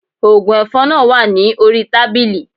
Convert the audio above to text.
Oògùn ẹ̀fọn náà wà ní orí tábìlì